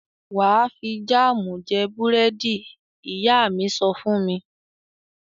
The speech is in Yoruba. "Wà á fi jáámù jẹ búrẹ́dì r!" Ìyá mi sọ fún mi.